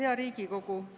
Hea Riigikogu!